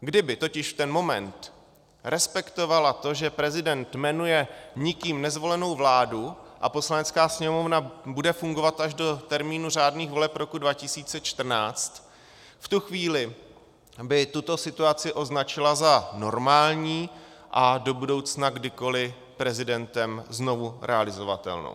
Kdyby totiž v ten moment respektovala to, že prezident jmenuje nikým nezvolenou vládu a Poslanecká sněmovna bude fungovat až do termínu řádných voleb roku 2014, v tu chvíli by tuto situaci označila za normální a do budoucna kdykoli prezidentem znova realizovatelnou.